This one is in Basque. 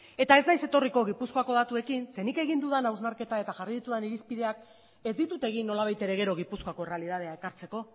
eta ez naiz etorriko gipuzkoako datuekin zeren nik egin dudan hausnarketa eta jarri ditudan irizpideak ez ditut egin nolabait ere gero gipuzkoako errealitatea ekartzeko